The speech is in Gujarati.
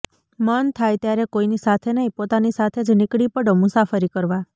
મન થાય ત્યારે કોઇની સાથે નહી પોતાની સાથે જ નીકળી પડો મુસાફરી કરવા